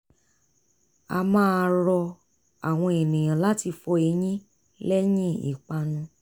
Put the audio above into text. a máa rọ àwọn ènìyàn láti fọ eyín lẹ́yìn ìpanu